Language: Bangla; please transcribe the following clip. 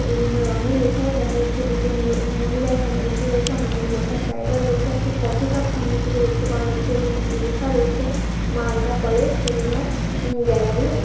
বিভিন্ন রঙের এছাড়াও দেখা যাচ্ছে দুজনন লো মহিলা এখানে বসে রয়েছে। অনেকগুলি বসার জায়গা রয়েছে। একটি কফি কাপ সামনের দিকে দেখতে পাওয়া যাচ্ছে এবং এখানে লেখা রয়েছে মালদা কলেজ সেমিনার গ্যালারি ।